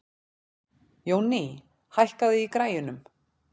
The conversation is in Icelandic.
Jónný, hækkaðu í græjunum.